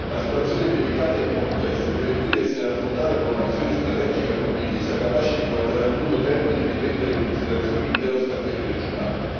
La situazione è delicata e complessa e deve quindi essere affrontata con una visione strategica condivisa, capace di guardare a lungo termine e di prendere in considerazione l'intero scacchiere regionale.